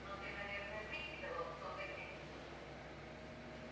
но ты наверное прикидывал кто за кем